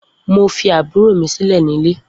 Mo fi àbúrò mi sílè ní ilé